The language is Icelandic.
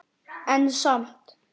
En samt.